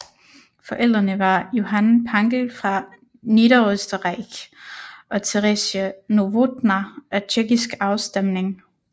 Forældrene var Johann Pankel fra Niederösterreich og Teresie Novotná af tjekkisk afstemning